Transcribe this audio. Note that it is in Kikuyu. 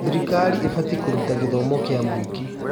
Thirikari ĩbatiĩ kũruta gĩthomo kĩa mũingĩ.